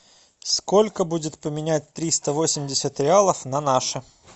сколько будет поменять триста восемьдесят реалов на наши